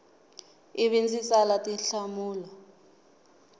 i vi ndzi tsala tinhlamulo